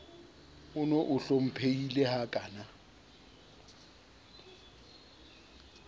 on o hlomphehileng ha kana